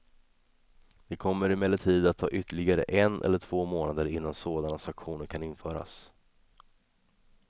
Det kommer emellertid att ta ytterligare en eller två månader innan sådana sanktioner kan införas.